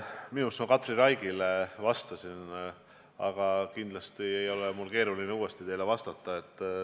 Minu meelest ma Katri Raigile vastasin sel teemal, aga kindlasti ei ole mul keeruline uuesti teile vastata.